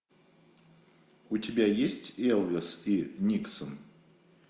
у тебя есть элвис и никсон